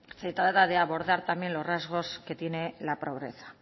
se trata de abordar los rasgos que tiene la pobreza